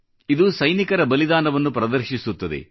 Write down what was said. ಇದು ಸೈನಿಕರ ಬಲಿದಾನವನ್ನು ಪ್ರದರ್ಶಿಸುತ್ತದೆ